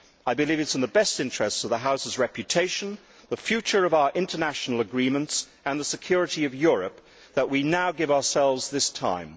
I believe it is in the best interests of the House's reputation, the future of our international agreements and the security of Europe that we now give ourselves this time.